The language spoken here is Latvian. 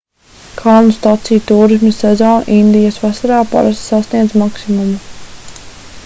kalnu staciju tūrisma sezona indijas vasarā parasti sasniedz maksimumu